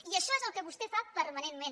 i això és el que vostè fa permanentment